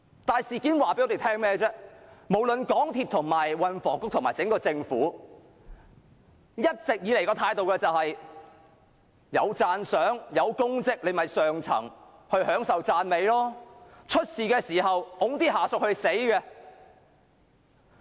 但是，事件告訴我們，無論港鐵公司、運輸及房屋局和整個政府，一直以來的態度都是有功績時，便由上層享受讚美；當發生事故時，便推下屬承擔責任。